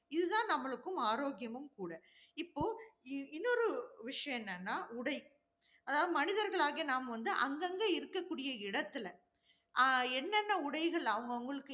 இது தான் நம்மளுக்கும் ஆரோக்கியமும் கூட. இப்போ, இன்னொரு விஷயம் என்னன்னா உடை, அதாவது மனிதர்களாகிய நாம் வந்து அங்கங்க இருக்கக்கூடிய இடத்துல, ஆஹ் என்னென்ன உடைகள் அவங்க அவங்களுக்கு